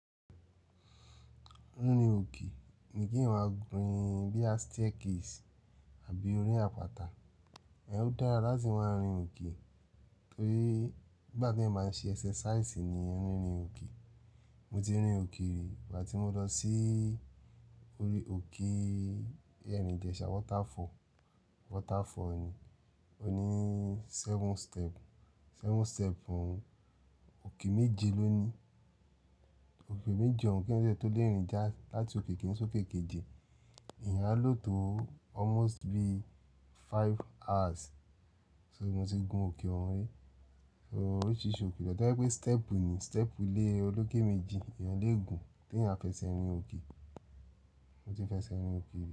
Rin orí òke ni kí wan máa gun bíia staircase àbí orí àpáta. Ẹ ó dára láti máa rìn òkì torí ìgbà tí ẹ máa ń ṣe exercise ni ẹ ń rìn òkì. Mo ti rìn òke rí ìgbà tí mo lọ sí orí òko Erin Ijesa Waterfall, waterfall ni. O ní seven step, seven step òun. Òke méje ló ní. Òke méje òún kí ẹn ti o tó lé rìn já láti òke kí n so òke Keke. Ìyẹn á lò tó almost be five hours, sọ tí mo ti gun òke òun rí. So oríṣìíríṣìí òke lọ̀dọ̀ pé pé step wò ni, step wò lè olókè méje, èèyàn lè gun tí ẹ̀yàn fẹ́ ṣe ẹ rìn òkì. Mo ti fẹ́ ṣe ẹ rìn òke rí.